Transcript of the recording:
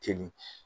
Ten